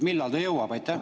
Millal ta jõuab?